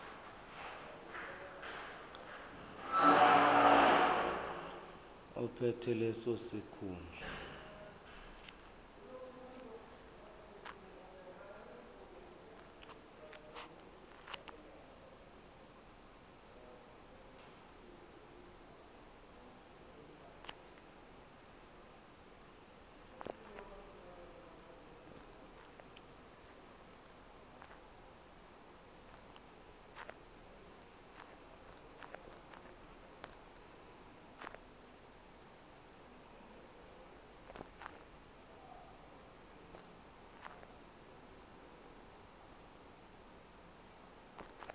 ophethe leso sikhundla